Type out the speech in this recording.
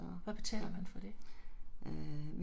Hvad betaler man for det?